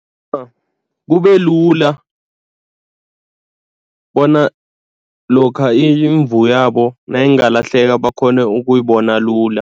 kubelula bona lokha imvu yabo nayingalahleka bakghone ukuyibona lula.